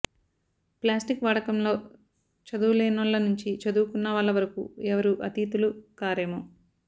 plastic వాడకంలో చదువులేనోళ్ల నుంచి చదువుకున్నవాళ్ల వరకు ఎవరూ అతీతులు కారేమో